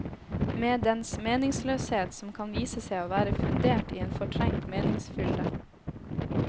Med dens meningsløshet som kan vise seg å være fundert i en fortrengt meningsfylde.